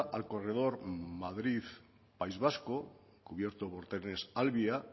al corredor madrid país vasco cubierto por trenes alvia